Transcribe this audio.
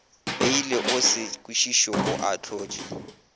peile o sekišitšwe o ahlotšwe